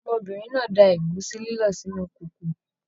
Ọmọbìnrin náà da ẹ̀gúsí lílọ̀ sínú kòkò